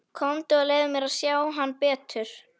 Komdu og leyfðu mér að sjá hann betur.